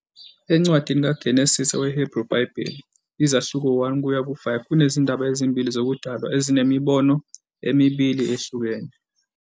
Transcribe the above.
Encwadini kaGenesise we- Hebrew Bible, izahluko 1 kuya ku-5, kunezindaba ezimbili zokudalwa ezinemibono emibili ehlukene.